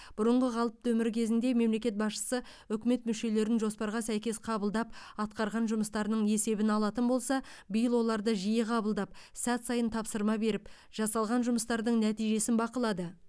бұрынғы қалыпты өмір кезінде мемлекет басшысы үкімет мүшелерін жоспарға сәйкес қабылдап атқарған жұмыстарының есебін алатын болса биыл оларды жиі қабылдап сәт сайын тапсырма беріп жасалған жұмыстардың нәтижесін бақылады